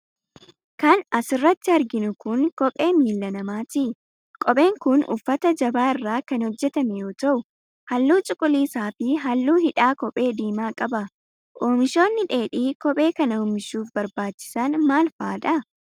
Kan as irratti arginu kun, kophee miila namaati. Kopheen kun uffata jabaa irraa kan hojjatamee yoo ta'u, haalluu cuquliisa fi haalluu hidhaa kophee diimaa qaba. Oomishoonni dheedhii kophee kana oomishuuf barbaachisan maal faa dha?